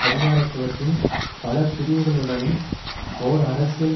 அதிகாரத்துவத்தின் பல பிரிவுகளுடனும் ஓர் அரசியல்